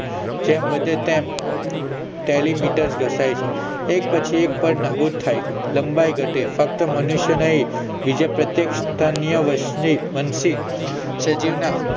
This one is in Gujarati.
જેમ વધે તેમ telimeter ઘસાય છે એક પછી એક પડ નાબૂદ થાય છે લંબાઈ ઘટે ફક્ત મનુષ્ય નહિ પ્રત્યેક સ્તન્ય વંશી સજીવના